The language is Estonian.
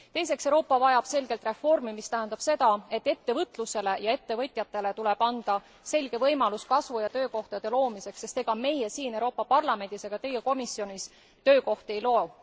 Teiseks vajab Euroopa selgelt reformi, mis tähendab seda, et ettevõtlusele ja ettevõtjatele tuleb anda selge võimalus kasvu ja töökohtade loomiseks, sest ega meie siin Euroopa Parlamendis ega teie komisjonis töökohti ei loo.